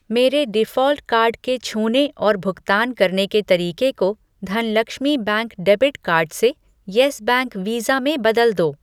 मेरे default card के छूने और भुगतान करने के तरीके को धनलक्ष्मी बैंक डेबिट कार्ड से यस बैंक वीज़ा में बदल दो।